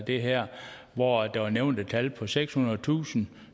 det her hvor der blev nævnt et tal på sekshundredetusind